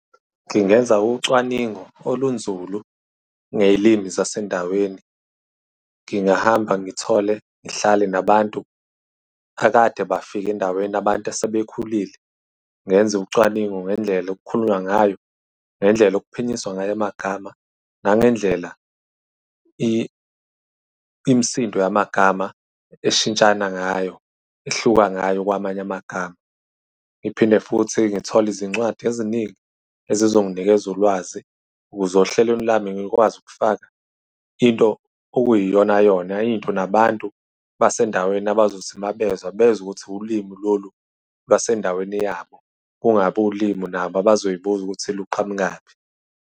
Ngingenza ucwaningo olunzulu ngey'limi zasendaweni. Ngingahamba ngithole, ngihlale nabantu akade bafike endaweni, abantu asebekhulile. Ngenze ucwaningo ngendlela okukhulunywa ngayo, ngendlela okuphinyiswa ngayo amagama, nangendlela imisindo yamagama ishintshana ngayo, ihluka ngayo kwamanye amagama. Ngiphinde futhi ngithole izincwadi eziningi ezizonginikeza ulwazi ukuze ohlelweni lami ngikwazi ukufaka into okuyiyona-yona. Into nabantu basendaweni abazothi mabezwa, bezwe ukuthi ulimi lolu lwasendaweni yabo. Kungabi ulimi nabo abazoy'buza ukuthi luqhamukaphi.